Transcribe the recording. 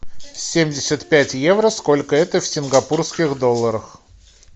семьдесят пять евро сколько это в сингапурских долларах